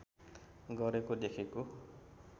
गरेको देखेको